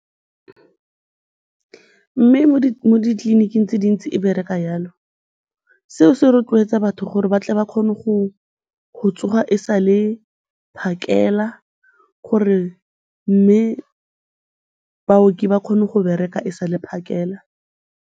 Mme mo ditleliniking tse dintsi e bereka jalo, seo se rotloetsa batho gore ba tle ba kgone go tsoga e sa le phakela gore mme baoki ba kgone go bereka e sa le phakela.